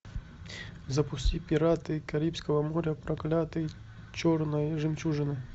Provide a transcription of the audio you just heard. запусти пираты карибского моря проклятие черной жемчужины